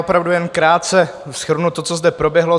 Opravdu jen krátce shrnu to, co zde proběhlo.